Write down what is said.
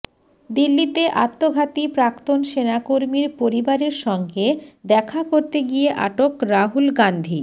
দিল্লিতে আত্মঘাতী প্রাক্তন সেনাকর্মীর পরিবারের সঙ্গে দেখা করতে গিয়ে আটক রাহুল গান্ধী